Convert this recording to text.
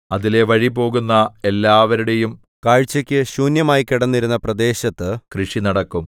അതിലെ വഴിപോകുന്ന എല്ലാവരുടെയും കാഴ്ചക്ക് ശൂന്യമായിക്കിടന്നിരുന്ന പ്രദേശത്ത് കൃഷി നടക്കും